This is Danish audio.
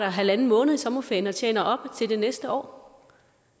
en halv måned i sommerferien og tjener op til det næste år